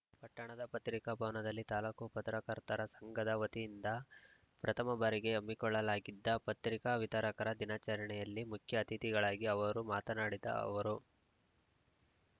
ಪಟ್ಟಣದ ಪತ್ರಿಕಾ ಭವನದಲ್ಲಿ ತಾಲೂಕು ಪತ್ರಕರ್ತರ ಸಂಘದ ವತಿಯಿಂದ ಪ್ರಥಮಬಾರಿಗೆ ಹಮ್ಮಿಕೊಳ್ಳಲಾಗಿದ್ದ ಪತ್ರಿಕಾ ವಿತರಕರ ದಿನಾಚರಣೆಯಲ್ಲಿ ಮುಖ್ಯ ಅತಿಥಿಗಳಾಗಿ ಅವರು ಮಾತನಾಡಿದ ಅವರು